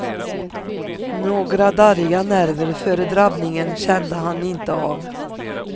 Några darriga nerver före drabbningen kände han inte av.